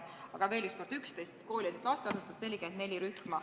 Aga veel kord: 11 koolieelset lasteasutust, 44 rühma.